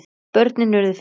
Börnin urðu fimm.